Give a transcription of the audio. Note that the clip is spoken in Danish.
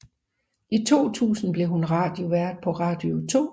I 2000 blev hun radiovært på Radio 2